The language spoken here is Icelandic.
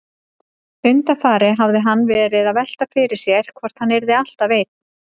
Undanfarið hafði hann verið að velta því fyrir sér hvort hann yrði alltaf einn.